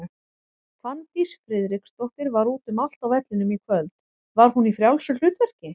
Fanndís Friðriksdóttir var út um allt á vellinum í kvöld, var hún í frjálsu hlutverki?